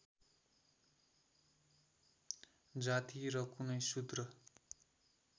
जाति र कुनै सुद्र